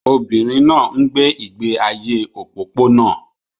Obìnrin náà ń gbé ìgbé ayé òpópónà